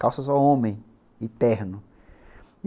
Calça só homem, e terno.